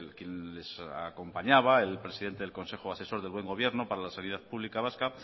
quien les acompañaba el presidente del consejo asesor del buen gobierno para la sanidad publica vasca